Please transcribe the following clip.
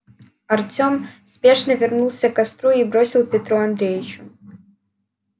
артем спешно вернулся к костру и бросил петру андреевичу